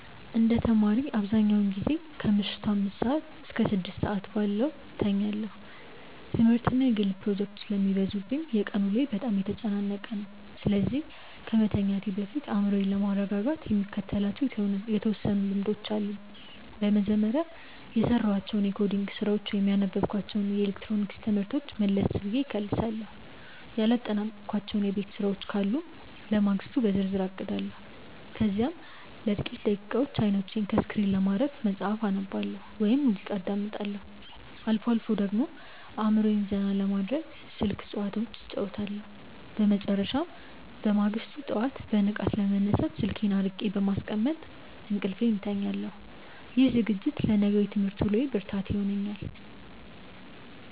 እንደ ተማሪ፣ አብዛኛውን ጊዜ ከምሽቱ አምስት እስከ ስድስት ባለው ሰዓት ውስጥ እተኛለሁ። ትምህርትና የግል ፕሮጀክቶች ስለሚበዙብኝ የቀን ውሎዬ በጣም የተጨናነቀ ነው፤ ስለዚህ ከመተኛቴ በፊት አእምሮዬን ለማረጋጋት የምከተላቸው የተወሰኑ ልምዶች አሉኝ። በመጀመሪያ፣ የሰራኋቸውን የኮዲንግ ስራዎች ወይም ያነበብኳቸውን የኤሌክትሮኒክስ ትምህርቶች መለስ ብዬ እከልሳለሁ። ያላጠናቀቅኳቸው የቤት ስራዎች ካሉ ለማግስቱ በዝርዝር አቅዳለሁ። ከዚያም ለጥቂት ደቂቃዎች አይኖቼን ከስክሪን ለማረፍ መጽሐፍ አነባለሁ ወይም ሙዚቃ አዳምጣለሁ። አልፎ አልፎ ደግሞ አእምሮዬን ዘና ለማድረግ ስልክ ጭዋታዎች እጫወታለሁ። በመጨረሻም፣ በማግስቱ ጠዋት በንቃት ለመነሳት ስልኬን አርቄ በማስቀመጥ እንቅልፌን እተኛለሁ። ይህ ዝግጅት ለነገው የትምህርት ውሎዬ ብርታት ይሆነኛል።